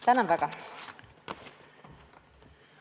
Tänan väga!